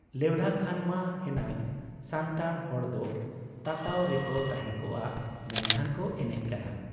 ᱞᱮᱣᱰᱷᱟ ᱠᱷᱟᱱ ᱢᱟ ᱦᱮᱱᱟᱝ ᱥᱟᱱᱛᱟᱲ ᱦᱚᱲᱫᱚ ᱛᱟᱛᱟᱣ ᱨᱮᱠᱚ ᱛᱟᱦᱮᱸ ᱠᱚᱜ ᱟ, ᱢᱮᱱᱠᱷᱟᱱ ᱠᱚ ᱮᱱᱮᱡ ᱠᱟᱱᱟ ᱾